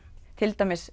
til dæmis